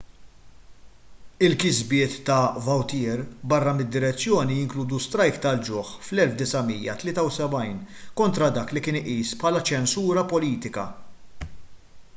il-kisbiet ta' vautier barra mid-direzzjoni jinkludu strajk tal-ġuħ fl-1973 kontra dak li kien iqis bħala ċensura politika